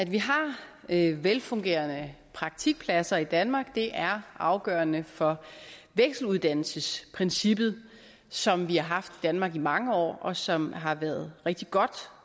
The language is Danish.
vi har velfungerende praktikpladser i danmark er afgørende for vekseluddannelsesprincippet som vi har haft i danmark i mange år og som har været rigtig godt